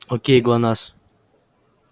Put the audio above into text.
окей глонассс